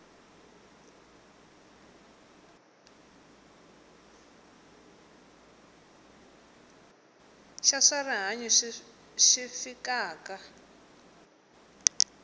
xa swa rihanyu xi fikaka